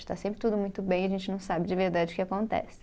Está sempre tudo muito bem e a gente não sabe de verdade o que acontece.